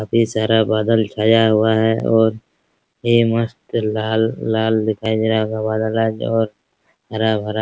अभी सारा बादल छाया हुआ है और यह मस्त लाल-लाल दिखाई दे रहा है और हरा-भरा --